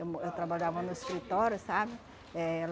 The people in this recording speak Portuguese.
Eu mo eu trabalhava no escritório, sabe? Eh